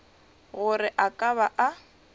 gore a ka ba a